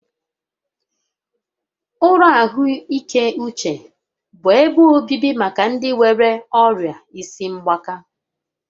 Ụlọ ahụike uche bụ ebe obibi maka ndị nwéré ọrịa isi mgbaka